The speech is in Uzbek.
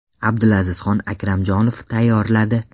Abdulazizxon Akramjonov tayyorladi.